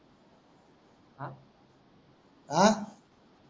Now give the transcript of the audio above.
आ